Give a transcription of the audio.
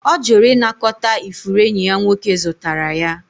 Ọ jụrụ ịnakọta ifuru enyi ya nwoke zụtara ya